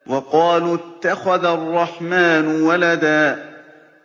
وَقَالُوا اتَّخَذَ الرَّحْمَٰنُ وَلَدًا